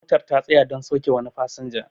motar ta tsaya don sauke wani fasinja